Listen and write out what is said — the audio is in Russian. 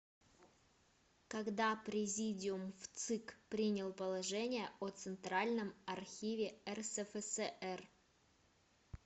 когда президиум вцик принял положение о центральном архиве рсфср